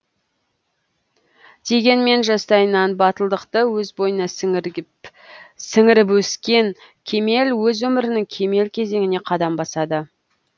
дегенмен жастайынан батылдықты өз бойына сіңіріп өскен кемел өз өмірінің кемел кезеңіне қадам басады